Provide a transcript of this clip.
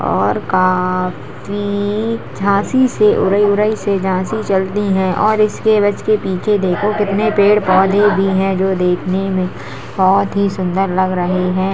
और काफी झाँसी से उरई उरई से झाँसी चलती हैं और इसके बस के पीछे देखो कितने पेड़ पौधे भी हैं जो देखने में बहोत ही सुंदर लग रहे हैं।